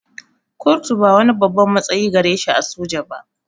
Kurtu ba wani babban matsayi gare shi a soja ba